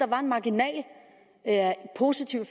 var en marginal positiv